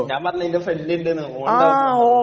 ങാ, ഞാൻ പറഞ്ഞില്ലേ..എന്റെ ഫ്രണ്ട് ഉണ്ട് നു, ഓൻ ഉണ്ടാകും അവിടെ..